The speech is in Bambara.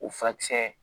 O furakisɛ